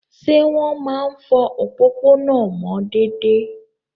Ṣé wọ́n máa ń fọ òpópónà mọ́ déédéé?